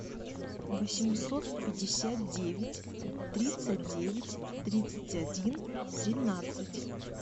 восемьсот пятьдесят девять тридцать девять тридцать один тринадцать